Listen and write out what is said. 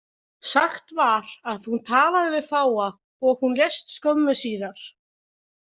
Sagt var að hún talaði við fáa og hún lést skömmu síðar.